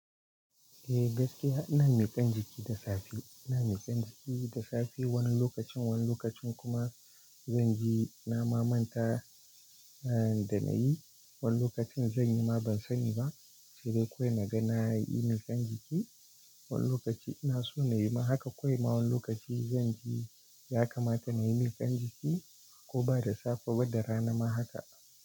Eh gaskiya ina mikan jiki da safe, ina mikan jiki da safe wani lokacin, wani lokacin kuma zanje na mamanta da na yi, wani lokacin zan yi ma ban sani ba, sai dai kawai na ga na yi mikan jiki. Wani lokaci ina so na yi ma haka kawai ma wani lokaci zanje ya kamata na yi mikan jiki ko ba da safe ba da rana ma haka.